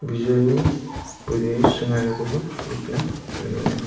bijolini buduni sringanikoba nikna man·enga.